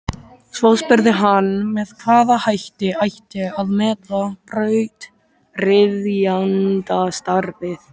Svo spurði hann með hvaða hætti ætti að meta brautryðjendastarfið.